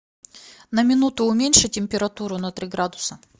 на минуту уменьши температуру на три градуса